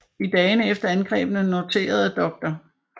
I dagene efter angrebene noterede dr